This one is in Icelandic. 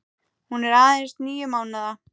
Hún er aðeins níu mánaða.